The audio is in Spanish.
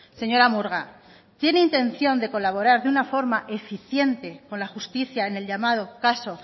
señora murga tiene intención de colaborar de una forma eficiente con la justicia en el llamado caso